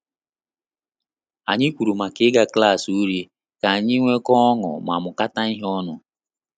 Anyị kwuru maka ịga klassi uri ka anyị nwekọ ọṅụ ma mukata ihe onu